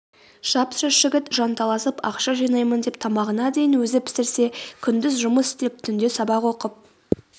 жап-жас жігіт жанталасып ақша жинаймын деп тамағына дейін өзі пісірсе күндіз жұмыс істеп түнде сабақ оқып